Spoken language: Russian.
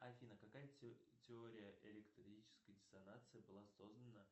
афина какая теория электрической диссонации была создана